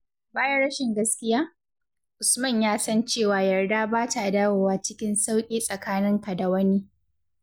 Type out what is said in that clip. Bayan rashin gaskiya, Usman ya san cewa yarda ba ta dawowa cikin sauƙi tsakaninka da wani.